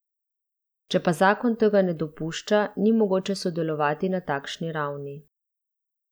Če pa zakon tega ne dopušča, ni mogoče sodelovati na takšni ravni.